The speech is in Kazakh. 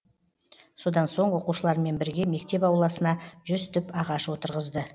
содан соң оқушылармен бірге мектеп ауласына жүз түп ағаш отырғызды